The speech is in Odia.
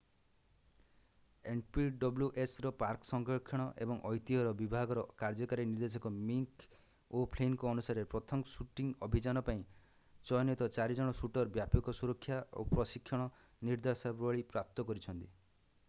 npwsର ପାର୍କ ସଂରକ୍ଷଣ ଏବଂ ଐତିହ୍ୟର ବିଭାଗର କାର୍ଯ୍ୟକାରୀ ନିର୍ଦ୍ଦେଶକ ମିକ୍ ଓ’ଫ୍ଲିନ୍‌ଙ୍କ ଅନୁସାରେ ପ୍ରଥମ ଶୁଟିଂ ଅଭିଯାନ ପାଇଁ ଚୟନିତ ଚାରିଜଣ ଶୁଟର୍‌ ବ୍ୟାପକ ସୁରକ୍ଷା ଓ ପ୍ରଶିକ୍ଷଣ ନିର୍ଦ୍ଦେଶାବଳୀ ପ୍ରାପ୍ତ କରିଛନ୍ତି।